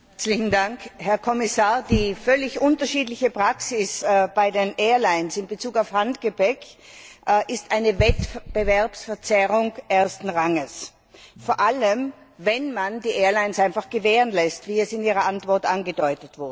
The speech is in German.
Frau Präsidentin, Herr Kommissar! Die völlig unterschiedliche Praxis bei den Airlines in Bezug auf Handgepäck ist eine Wettbewerbsverzerrung ersten Ranges, vor allem wenn man die Airlines einfach gewähren lässt, wie es in Ihrer Antwort angedeutet wurde.